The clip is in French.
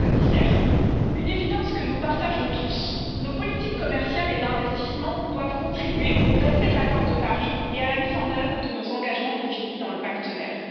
Monsieur le Président, Madame la Commissaire, une évidence que nous partageons tous nos politiques commerciales et d'investissement doivent contribuer au respect de l'accord de Paris et à la mise en œuvre de nos engagements définis dans le pacte vert.